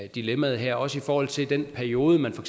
dilemmaet her også i forhold til den periode man for